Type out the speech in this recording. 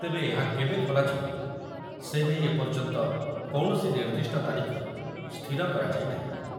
ତେବେ ଏହା କେବେ ଖୋଲାଯିବ ସେ ନେଇ ଏପର୍ଯ୍ୟନ୍ତ କୌଣସି ନିର୍ଦ୍ଦିଷ୍ଟ ତାରିଖ ସ୍ଥିର କରାଯାଇ ନାହିଁ।